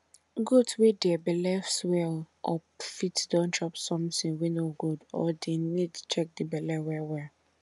goat wey dere belle swell up fit don chop sometin wey no good or dey need check di belle well well